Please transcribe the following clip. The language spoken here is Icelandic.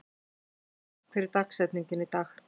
Jonni, hver er dagsetningin í dag?